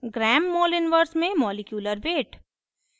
g mol1 gram moleinverse में molecular weight